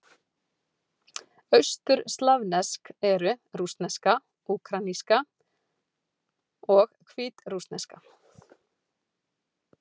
Austurslavnesk eru: rússneska, úkraínska og hvítrússneska.